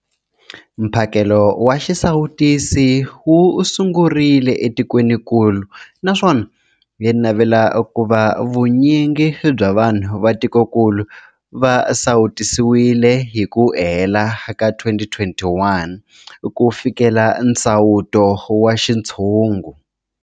Mphakelo wa xisawutisi wu sungurile etikwenikulu naswona hi navela ku va vu nyingi bya vanhu va tikokulu va sawutisiwile hi ku hela ka 2021 ku fikelela nsawuto wa xintshungu.